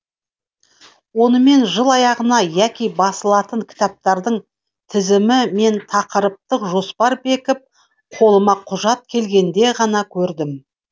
оны мен жыл аяғында яки басылатын кітаптардың тізімі мен тақырыптық жоспар бекіп қолыма құжат келгенде ғана көрдім